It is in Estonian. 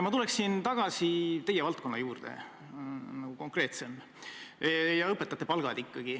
Ma tuleksin tagasi teie valdkonna juurde, sedasi konkreetsemalt, ja selleks on ikkagi õpetajate palgad.